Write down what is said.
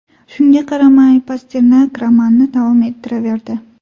Shunga qaramay, Pasternak romanni davom ettiraverdi.